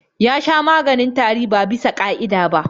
Ya sha maganin tari ba bisa ƙa'ida ba.